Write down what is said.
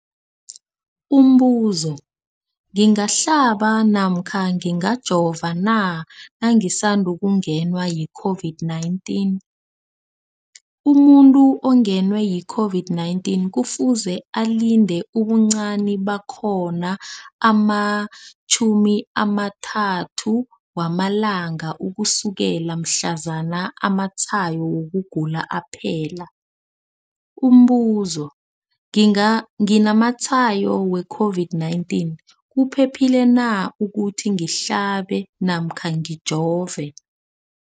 Umbuzo, ngingahlaba namkha ngingajova na nangisandu kungenwa yi-COVID-19? Umuntu ongenwe yi-COVID-19 kufuze alinde ubuncani bakhona ama-30 wama langa ukusukela mhlazana amatshayo wokugula aphela. Umbuzo, nginamatshayo we-COVID-19, kuphephile na ukuthi ngihlabe namkha ngijove?